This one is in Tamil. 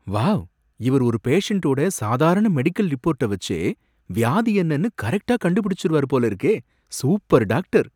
வாவ்! இவரு ஒரு பேஷன்டோட சாதாரண மெடிக்கல் ரிப்போர்ட்ட வச்சே வியாதி என்னன்னு கரெக்ட்டா கண்டுபிடிச்சுருவாரு போல இருக்கே! Super doctor!